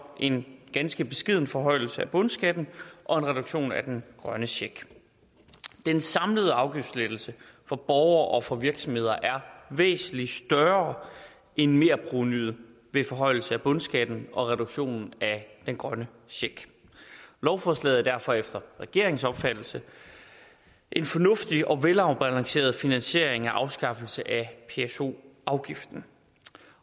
en ganske beskeden forhøjelse af bundskatten og en reduktion af den grønne check den samlede afgiftslettelse for borgere og for virksomheder er væsentlig større end merprovenuet ved forhøjelse af bundskatten og reduktionen af den grønne check lovforslaget er derfor efter regeringens opfattelse en fornuftig og velafbalanceret finansiering af afskaffelse af pso afgiften